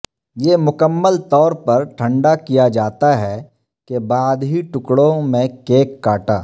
یہ مکمل طور پر ٹھنڈا کیا جاتا ہے کے بعد ہی ٹکڑوں میں کیک کاٹا